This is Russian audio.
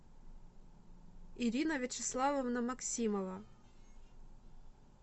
ирина вячеславовна максимова